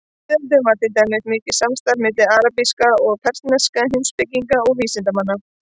Á miðöldum var til dæmis mikið samstarf milli arabískra og persneskra heimspekinga og vísindamanna.